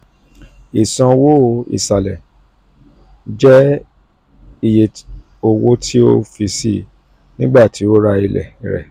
isanwo isalẹ: isanwo isalẹ jẹ iye owo ti ti o fi sii nigbati o ra ile rẹ.